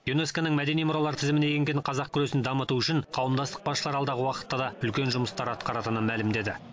юнеско ның мәдени мұралар тізіміне енген қазақ күресін дамыту үшін қауымдастық басшылары алдағы уақытта да үлкен жұмыстар атқаратынын мәлімдеді